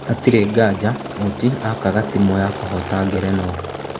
hatirĩ nganja Oti aakaga timu ya kũhoota ngerenwa.